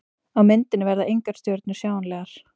Á myndinni verða engar stjörnur sjáanlegar.